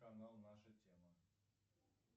канал наша тема